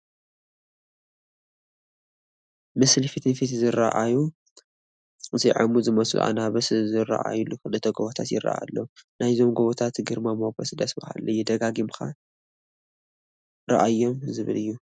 ምስሊ ፊት ንፊት ዝርአአዩ ዘዔሙዝመስሉ ኣናብስ ዝርአዩሉ ክልተ ጐቦታት ይርአዩ ኣለዉ፡፡ ናይዞም ጐቦታት ግርማ ሞገስ ደስ በሃሊ እዩ፡፡ ደጋጊምካ ርአየኒ ዝብል እዩ፡፡